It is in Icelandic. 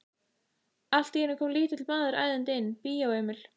Allt í einu kom lítill maður æðandi inn: Bíó Emil.